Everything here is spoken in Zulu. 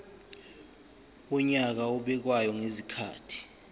wonyaka obekwayo ngezikhathi